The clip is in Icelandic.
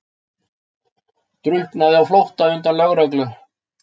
Drukknaði á flótta undan lögreglu